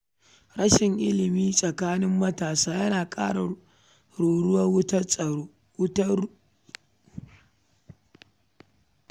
Rashin ilimi tsakanin matasa yana kara rura wutar rashin tsaro.